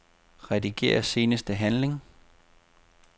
Rediger seneste handling.